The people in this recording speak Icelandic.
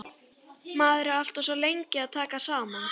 Maður er alltaf svo lengi að taka saman.